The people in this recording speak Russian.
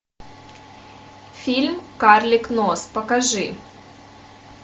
фильм карлик нос покажи